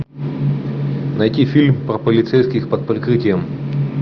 найти фильм про полицейских под прикрытием